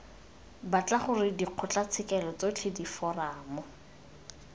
batla gore dikgotlatshekelo tsotlhe diforamo